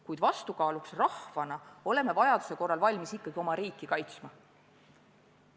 Kuid vastukaaluks rahvana oleme vajaduse korral valmis ikkagi oma riiki kaitsma.